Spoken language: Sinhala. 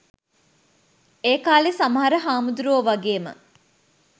ඒකාලෙ සමහර හාමුදුරුවො වගේම